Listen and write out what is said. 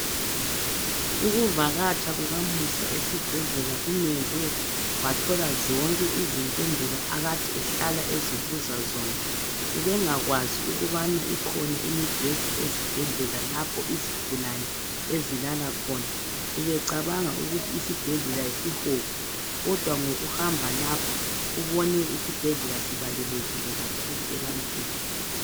Ukuvakatsha kukaMusa esibhedlela kumenze wathola zonke izimpendulo akade ehlala ezibuza zona. Ubengakwazi ukubana ikhona imibheda ezibhedlela lapho izigulane ezilala khona. Ubecabanga ukuthi isibhedlela yisihogo kodwa ngokuhamba lapho ubone isibhedlela sibalulekile kakhulu ebantwini.